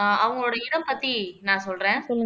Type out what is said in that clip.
ஆஹ் அவங்களோட இனம் பத்தி நான் சொல்றேன்